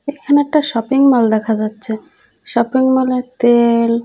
এইখানে একটা শপিংমল দেখা যাচ্ছে শপিংমল -এ তেল--